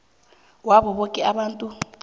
wabo boke abantu